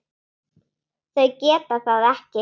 Þau geta það ekki.